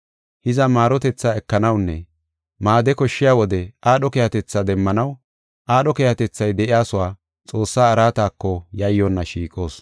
Hiza, maarotethaa ekanawunne maade koshshiya wode aadho keehatetha demmanaw aadho keehatethay de7iyasuwa Xoossaa araatako yayyonna shiiqoos.